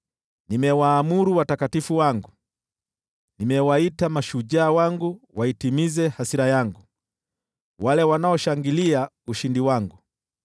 Nimewaamuru watakatifu wangu; nimewaita mashujaa wangu waitimize hasira yangu: wale wanaoshangilia ushindi wangu.